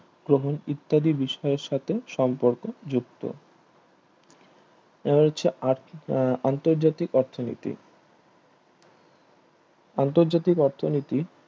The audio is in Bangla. গ্রহণ ইত্যাদি বিষয়ের সাথে সম্পর্ক যুক্ত এবার হচ্ছে আন্তর্জাতিক অর্থনীতি আন্তর্জাতিক অর্থনীতি